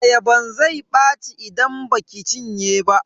Ayaban zai ɓaci idan baki cinye ba.